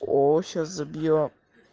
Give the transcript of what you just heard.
оо сейчас забьём